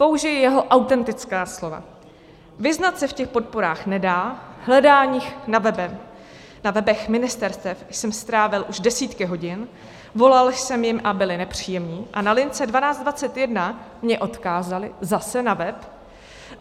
Použiji jeho autentická slova: Vyznat se v těch podporách nedá, hledáním na webech ministerstev jsem strávil už desítky hodin, volal jsem jim a byli nepříjemní a na lince 1221 mě odkázali zase na web.